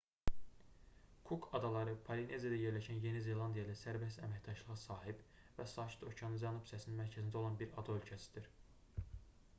kuk adaları polineziyada yerləşən yeni zelandiya ilə sərbəst əməkdaşlığa sahib və sakit okeanın cənub hissəsinin mərkəzində olan bir ada ölkəsidir